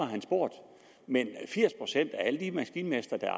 han spurgt men firs procent af alle de maskinmestre der er